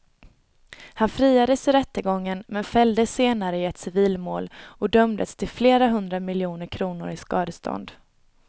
Han friades i rättegången men fälldes senare i ett civilmål och dömdes till flera hundra miljoner kronor i skadestånd.